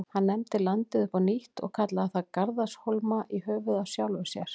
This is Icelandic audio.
Hann nefndi landið upp á nýtt og kallaði það Garðarshólma, í höfuðið á sjálfum sér.